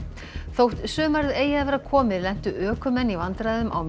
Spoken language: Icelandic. þótt sumarið eigi að vera komið lentu ökumenn í vandræðum á